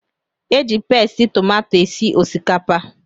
Eji pasti tomato esi osikapa